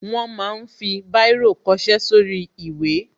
Wọ́n ma ń fi Báírò kọṣẹ́ sórí ìwé